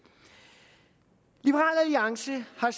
liberal alliance har